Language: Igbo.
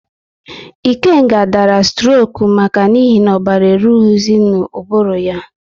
Ikenga dara stroku n'ihi na ọbara eruhizi n'ubulu ya